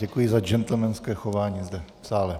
Děkuji za gentlemanské chování zde v sále.